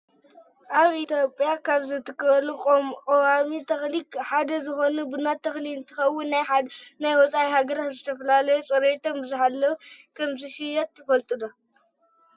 ኣብ ኢትዮጵያ ካብ ዝትከሉ ቆዋሚ ተክሊ ሓደ ዝኮነ ቡና ተክሊ እንትከውን ናብ ወፃኢ ሃገራት ብዝተፈላለዩ ፅሬቶም ብዝሓለው ከምዝሽየጥ ትፈልጡ ዶ?